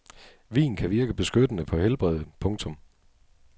Vin kan virke beskyttende på helbredet. punktum